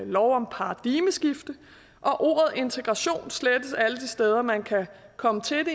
lov om paradigmeskifte og ordet integration slettes alle de steder man kan komme til